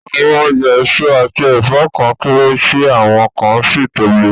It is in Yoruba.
Àwọn ọjà èso àti ẹ̀fọ́ kan kéré, tí àwọn kan sì tóbi